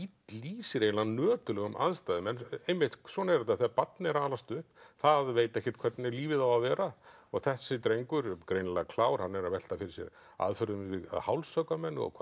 lýsir eiginlega nöturlegum aðstæðum en einmitt svona er þetta þegar barn er að alast upp það veit ekkert hvernig lífið á að vera og þessi drengur greinilega klár hann er að velta fyrir sér aðferðum við að hálshöggva menn og hvað